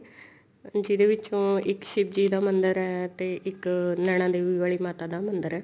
ਜਿਹਦੇ ਵਿਚੋਂ ਇੱਕ ਸ਼ਿਵ ਜੀ ਦਾ ਮੰਦਰ ਹੈ ਤੇ ਇੱਕ ਨੈਣਾ ਦੇਵੀ ਵਾਲੀ ਮਾਤਾ ਦਾ ਮੰਦਰ ਹੈ